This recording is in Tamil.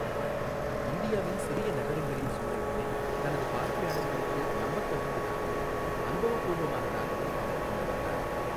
இந்தியாவின் சிறிய நகரங்களின் சூழல்களை தனது பார்வையாளர்களுக்கு நம்பத்தகுந்ததாகவும், அனுபவப்பூர்வமானதாகவும் அவர் கொண்டு வந்தார்.